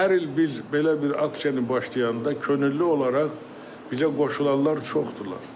Və hər il biz belə bir aksiyanı başlayanda könüllü olaraq bizə qoşulanlar çoxdurlar.